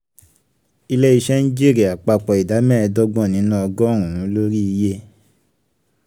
ilé-iṣẹ́ ń jèrè àpapọ̀ ìdá mẹ́ẹ̀dọ́gbọ̀n nínú ọgọ́rùn-ún lórí iye.